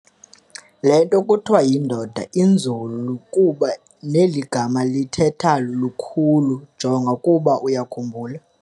Lento kuthiwa yindoda inzulu kuba neligama lithetha lukhulu, jonga ukuba uyakhumbula